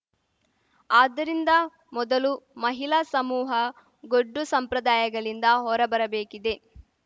ಆದ್ದರಿಂದ ಮೊದಲು ಮಹಿಳಾ ಸಮೂಹ ಗೊಡ್ಡು ಸಂಪ್ರದಾಯಗಳಿಂದ ಹೊರಬರಬೇಕಿದೆ